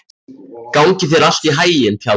Gangi þér allt í haginn, Tjaldur.